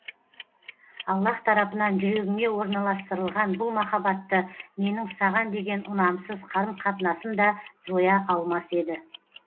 аллаһ тарапынан жүрегіңе орналастырылған бұл махаббатты менің саған деген ұнамсыз қарым қатынасым да жоя алмас еді